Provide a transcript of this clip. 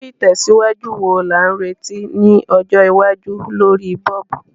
Irú ìtẹ̀síwájú wo la n retí ni ọjọ́ iwájú lorí bulb?